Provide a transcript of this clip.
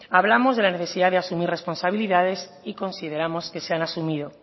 hablamos de la necesidad de asumir responsabilidades y consideramos que se han asumido